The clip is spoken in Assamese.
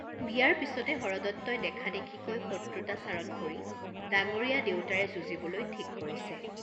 বিয়াৰ পিচতে হৰদত্তই দেখাদেখিকৈ শত্ৰুতাচৰণ কৰি ডাঙ্গৰীয়া দেউতাৰে যুঁজিবলৈ ঠিক কৰিছে।